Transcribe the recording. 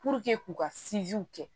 k'u ka kɛ